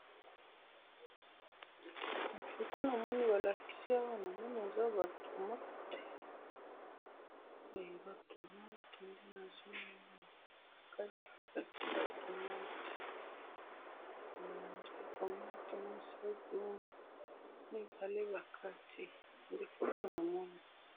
na photo namoni balakisi awa, namoni eza ba tomates, ba tomates nde nazomoni awa bakati ba tomotes mibale, nde photo namoni